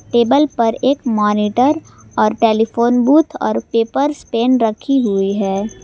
Table पर एक monitor और टेलीफोन बूथ और पेपर्स पेन रखी हुई है।